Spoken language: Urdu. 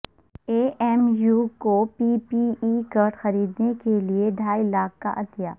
اے ایم یو کوپی پی ای کٹ خریدنے کے لئے ڈھائی لاکھ کا عطیہ